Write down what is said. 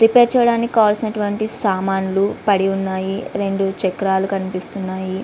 Repair చెయ్యడానికి కావలసిన వంటివి సామాన్లు పడి ఉన్నాయి. రెండు చక్రాలు కనిపిస్తున్నాయి.